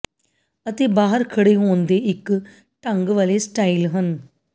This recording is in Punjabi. ਅਤੇ ਬਾਹਰ ਖੜ੍ਹੇ ਹੋਣ ਦੇ ਇੱਕ ਢੰਗ ਵਾਲ਼ੇ ਸਟਾਈਲ ਹਨ